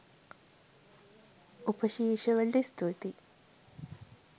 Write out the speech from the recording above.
උපශීර්ෂ වලට ස්තුතියි